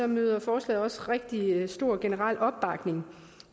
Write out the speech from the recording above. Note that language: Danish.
møder forslaget også rigtig stor generel opbakning